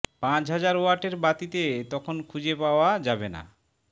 পাঁচ হাজার ওয়াটের বাতিতে তখন খুঁজে পাওয়া যাবে না